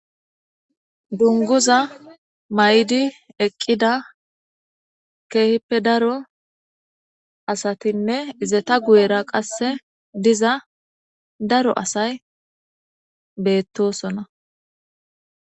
Dunguza maydi eqqida keehippe daro asathinne izeta guyera qasse diza daro asay beettosona.